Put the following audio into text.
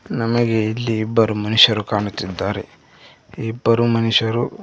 ನಮಗೆ ಇಲ್ಲಿ ಇಬ್ಬರು ಮನುಷ್ಯರು ಕಾಣುತ್ತಿದ್ದಾರೆ ಇಬ್ಬರು ಮನುಷ್ಯರು --